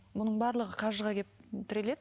оның барлығы қаржыға келіп тіреледі